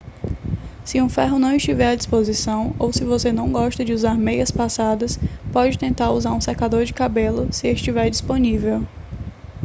se um ferro não estiver à disposição ou se você não gosta de usar meias passadas pode tentar usar um secador de cabelo se estiver disponível